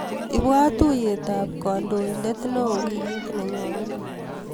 Ibwat tuiyetap kandoindet neoo wikit nenyone.